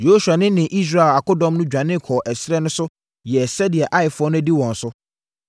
Yosua ne ne Israel akodɔm no dwane kɔɔ ɛserɛ no so yɛɛ sɛdeɛ Aifoɔ no adi wɔn so,